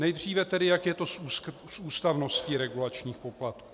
Nejdříve tedy, jak je to s ústavností regulačních poplatků.